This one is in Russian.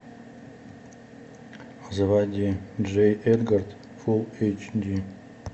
заводи джей эдгар фулл эйч ди